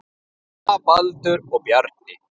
Alma, Baldur og Bjarni.